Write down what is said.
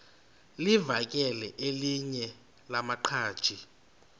livakele elinye lamaqhaji